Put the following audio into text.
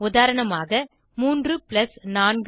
உதாரணமாக 3 4 5